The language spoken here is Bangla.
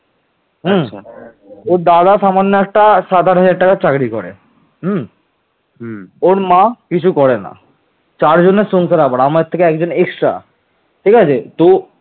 পাল রাজবংশের প্রতিষ্ঠাতা ছিলেন রাজা গোপাল